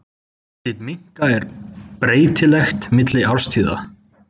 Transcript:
Útlit minka er breytilegt milli árstíða.